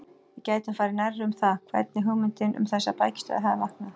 Við getum farið nærri um það, hvernig hugmyndin um þessar bækistöðvar hafði vaknað.